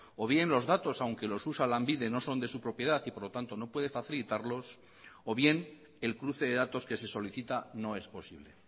o bien los datos aunque los usa lanbide no son de su propiedad y por lo tanto no puede facilitarlos o bien el cruce de datos que se solicita no es posible